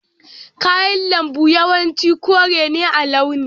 Kayan lambu yawanci kore ne a launi.